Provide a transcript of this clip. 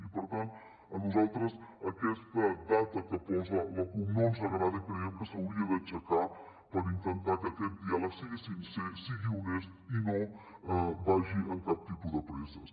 i per tant a nosaltres aquesta data que posa la cup no ens agrada i creiem que s’hauria d’aixecar per intentar que aquest diàleg sigui sincer sigui honest i no vagi amb cap tipus de presses